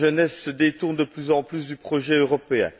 La jeunesse se détourne de plus en plus du projet européen.